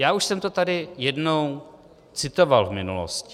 Já už jsem to tady jednou citoval v minulosti.